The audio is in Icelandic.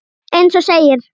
Eins og segir.